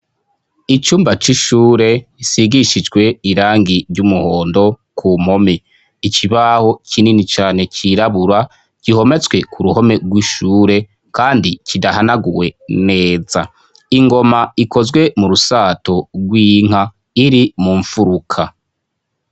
Icumba c'ishure gisiz' irangi ry'umuhondo, kuruhome har'ikibaho kinini cane cirabura canditseko, mu mfuruka har'ingom' ikozwe mu rushato rw'inka, inyuma y' ingoma har' imbaho zishinze kuruhome, mu ruhande rw' ibubamfu habonek' umuryango wuguruy' usiz' irangi ryera.